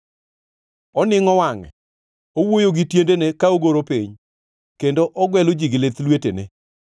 oningʼo wangʼe, owuoyo gi tiendene ka ogoro piny, kendo ogwelo ji gi lith lwetene,